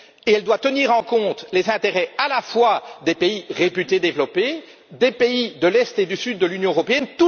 Elle doit tenir compte des intérêts à la fois des pays réputés développés, des pays de l'Est et du Sud de l'Union européenne.